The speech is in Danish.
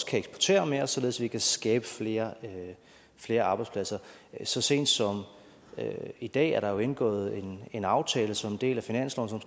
kan eksportere mere og således at vi kan skabe flere flere arbejdspladser så sent som i dag er der jo indgået en aftale som en del af finansloven